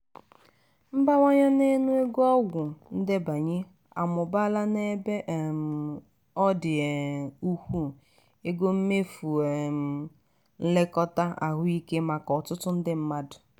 mbawanye n'ọnụ ego ọgwụ ndenye amụbaala n'ebe um ọ dị um ukwuu ego mmefụ um nlekọta ahụike maka ọtụtụ ndị mmadụ.